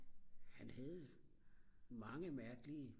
han havde mange mærkelige